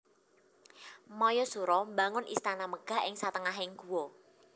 Mayasura mbangun istana megah ing satengahing guwa